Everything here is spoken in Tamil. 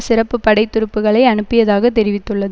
சிறப்பு படை துருப்புக்களை அனுப்பியதாகத் தெரிவித்துள்ளது